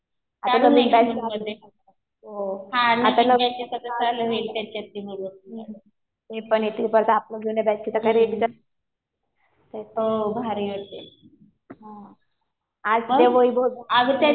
आता नवीन बॅच सुरु होते. ते पण येतील. परत आपल्या जुन्या बॅचचे. हा. आज ते वैभव ते